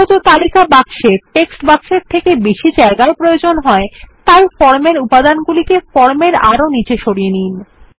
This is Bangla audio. যেহেতু তালিকা বাক্সে টেক্সট বাক্সের থেকে বেশি জায়গার প্রয়োজন হয় তাই ফর্মের উপাদান গুলিকে ফর্ম এর আরো নিচে সরিয়ে নিন